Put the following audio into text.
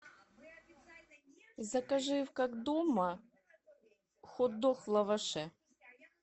закажи в как дома хотдог в лаваше